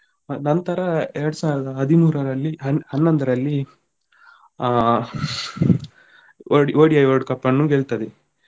ನಂತರ ಎರಡು ಸಾವಿರದ ಹದಿಮೂರಲ್ಲಿ ಹನ್ನೊಂದ್ರಲ್ಲಿ ಆ ODI World Cup ಅನ್ನು ಗೆಲ್ತದೆ.